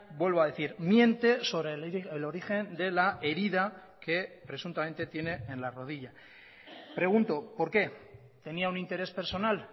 vuelvo a decir miente sobre el origen de la herida que presuntamente tiene en la rodilla pregunto por qué tenía un interés personal